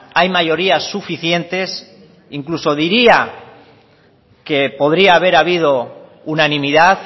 hay mayoría suficientes e incluso diría que podría haber habido unanimidad